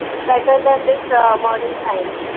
better than this modern science